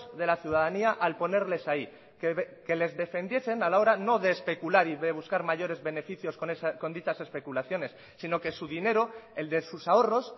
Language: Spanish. de la ciudadanía al ponerles ahí que les defendiesen a la hora no de especular y de buscar mayores beneficios con dichas especulaciones sino que su dinero el de sus ahorros